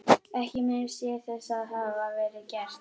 Ekki minnist ég þess að það hafi verið gert.